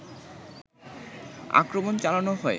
আক্রমণ চালানো হয়